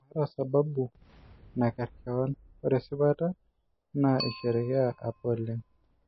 Maata sababu nakerr keon ore esipata naa aishereea apa oleng